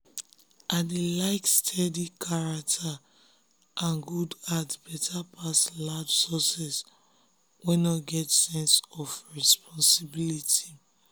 i dey like steady character and good heart better pass loud success wey no get sense of responsibility.